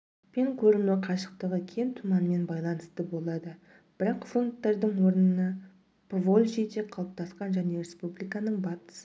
пен көріну қашықтығы кем тұманмен байланысты болады бірақ фронттардың орнына поволжьеде қалыптасқан және республиканың батыс